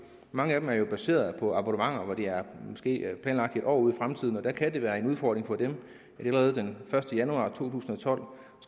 mange af dem er baseret på abonnementer og det er måske planlagt i år ud i fremtiden og der kan det være en udfordring for dem at de allerede den første januar to tusind og tolv